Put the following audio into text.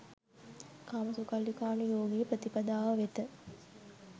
කාමසුඛල්ලිකානු යෝගී ප්‍රතිපදාව වෙත